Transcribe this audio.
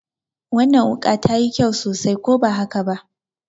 Wannan wuƙa ta yi kyau sosai, ko ba haka ba?